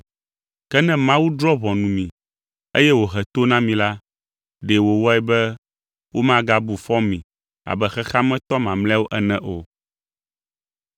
Ke ne Mawu drɔ̃ ʋɔnu mi, eye wòhe to na mi la, ɖe wòwɔe be womagabu fɔ mi abe xexea me tɔ mamlɛawo ene o.